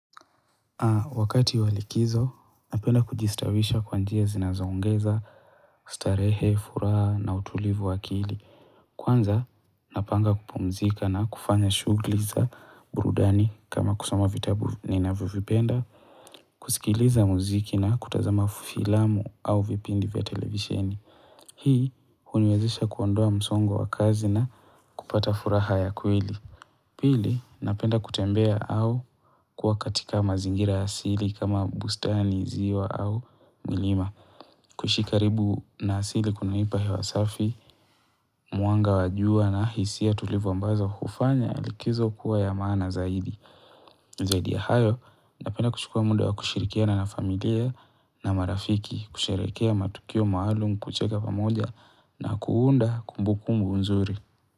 Wakati wa likizo, napenda kujistawisha kwanjia zinazoongeza, starehe, furaha na utulivu wakili. Kwanza, napanga kupumzika na kufanya shugli za burudani kama kusoma vitabu ninavyo vipenda, kusikiliza muziki na kutazama filamu au vipindi vya televisieni. Hii, uniwezesha kuondoa msongo wa kazi na kupata furaha ya kweli. Pili, napenda kutembea au kuwa katika mazingira asili kama bustani ziwa au milima. Kuishi karibu na asili kunaipa hewa safi, mwanga wa jua na hisia tulivu ambazo hufanya likizo kuwa ya maana zaidi. Zaidi ya hayo, napenda kuchukua muda wa kushirikiana na familia na marafiki, kusherehekea matukio maalum kucheka pamoja na kuunda kumbu kumbu nzuri.